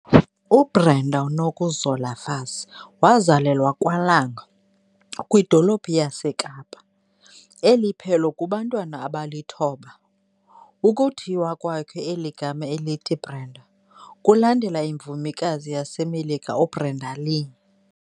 U Brenda Nokuzola Fassie wazalelwa kwaLanga, kwidolophu yaseKapa, eliphelo kubantwana abalithoba. Ukuthiywa kwakhe eli gama elithi Brenda kulandela imvumikazi yaseMelika u Brenda Lee.